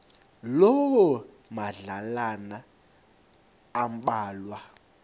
loo madlalana ambalwa